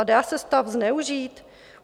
A dá se stav zneužít?